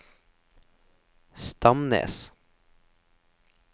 Stamnes